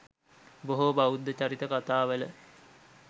බොහෝ බෞද්ධ චරිත කතාවල